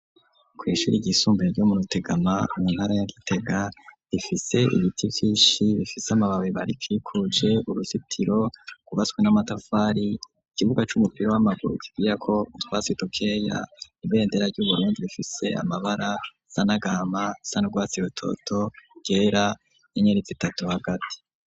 Kw'ishuri yisumbuye ryo Murutegama mu ntara ya Gitega ifise ibiti Vyinshi bifise amababi arikikuje uruzitiro .ryubatswe n'amatafari ikibuga c'umupiro w'amaguru kigiya ko twasitokeya ibendera ryu Burundi bifise amabara asa nagahama asa urwatsi rutoto iryera 'inyenyeri zitatu hagati.